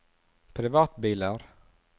privatbiler